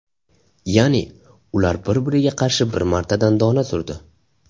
Ya’ni, ular bir-biriga qarshi bir martadan dona surdi.